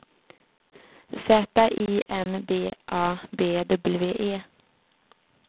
Z I M B A B W E